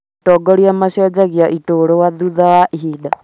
Atongoria macenjagia iturwa thutha wa ihinda